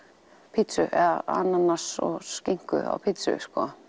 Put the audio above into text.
pizzu eða ananas og skinku á pizzu